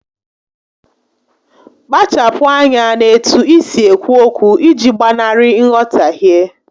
Kpachapu anya n'etu isi ekwu okwu iji gbanarị nghọtahie